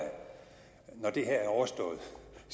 når det her er overstået